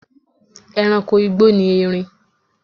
E̩ranko igbó ni erin